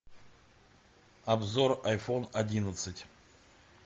обзор айфон одиннадцать